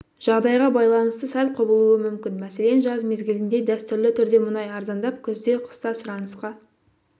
жағдайға байланысты сәл құбылуы мүмкін мәселен жаз мезгілінде дәстүрлі түрде мұнай арзандап күзде қыста сұранысқа